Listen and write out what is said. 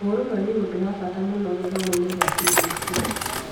ũrũmwe nĩ ũndũ wa bata mũno gĩthomo-inĩ kĩa CBC